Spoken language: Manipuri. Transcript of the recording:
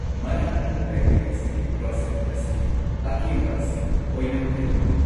ꯃꯅꯥꯛ ꯅꯛꯄ ꯕꯦꯀꯔꯤ ꯑꯁꯤꯒꯤ ꯀ꯭ꯔꯣꯏꯁꯦꯟꯠ ꯑꯁꯤꯒꯤ ꯑꯀꯦꯝꯕ ꯑꯁꯤ ꯑꯣꯏꯅꯝꯈꯩ ꯍꯥꯎꯏ ꯫